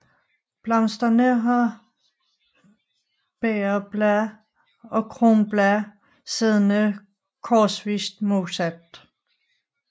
Blomsterne har bægerblade og kronblade siddende korsvist modsat